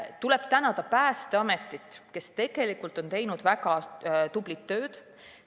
Tuleb tänada Päästeametit, kes on teinud väga tublit tööd.